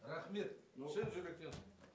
рахмет шын жүректен